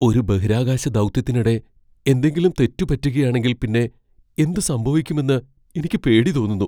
ഒരു ബഹിരാകാശ ദൗത്യത്തിനിടെ എന്തെങ്കിലും തെറ്റ് പറ്റുകയാണെങ്കിൽ പിന്നെ എന്ത് സംഭവിക്കുമെന്ന് എനിക്ക് പേടി തോന്നുന്നു .